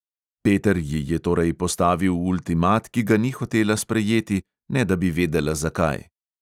Peter ji je torej postavil ultimat, ki ga ni hotela sprejeti, ne da bi vedela zakaj.